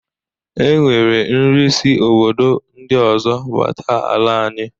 E nwere nri si obodo ndị ọzọ bata ala anyị.